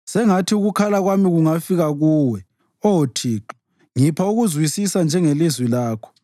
Sengathi ukukhala kwami kungafika kuwe, Oh Thixo ngipha ukuzwisisa njengelizwi lakho.